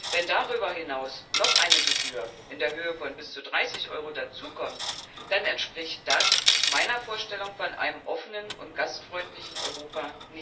Wenn darüber hinaus noch eine Gebühr in Höhe von bis zu 30 Euro dazukommt, dann entspricht das nicht meiner Vorstellung von einem offenen und gastfreundlichen Europa.